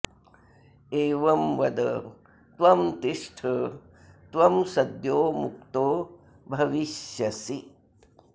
एवं वद त्वं तिष्ठ त्वं सद्यो मुक्तो भविष्यसि